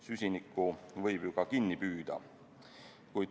Süsiniku võib ju ka kinni püüda.